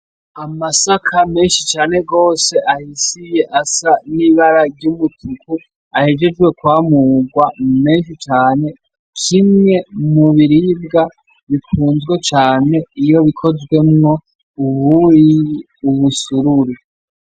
Amasaka menshi cane gose ahishiye, asa n'ibara ry'umutuku, ahejeje kwamugwa menshi cane, kimwe mu biribwa bikunzwe cane iyo bikozwemwo ubuyi, umusururu.